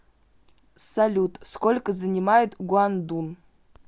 салют сколько занимает гуандун